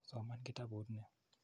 Soman kitaput ni.